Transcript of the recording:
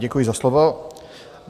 Děkuji za slovo.